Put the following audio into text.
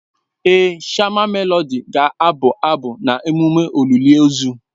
Èé, shama Melodị ga-abụ abụ na emume olili ozu.